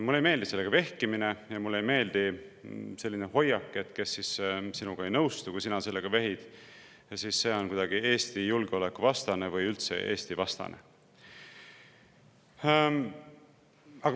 Mulle ei meeldi sellega vehkimine ja mulle ei meeldi selline hoiak, et see, kes sinuga ei nõustu, kui sa sellega vehid, on kuidagi Eesti julgeoleku vastane või üldse Eesti-vastane.